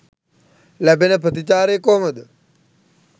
ලැබෙන ප්‍රතිචාරය කොහොමද?